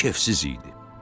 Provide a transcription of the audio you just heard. O kefsiz idi.